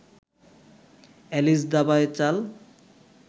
Alice দাবায় চাল